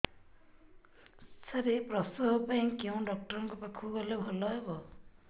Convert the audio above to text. ସାର ପ୍ରସବ ପାଇଁ କେଉଁ ଡକ୍ଟର ଙ୍କ ପାଖକୁ ଗଲେ ଭଲ ହେବ